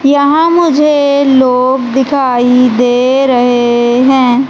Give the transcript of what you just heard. यहाँ मुझे लोग दिखाई दे रहे हैं।